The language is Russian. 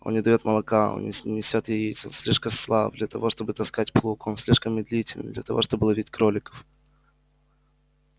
он не даёт молока он не несёт яиц он слишком слаб для того чтобы таскать плуг он слишком медлителен для того чтобы ловить кроликов